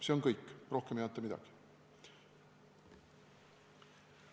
See on kõik, rohkem ei anta mingit infot.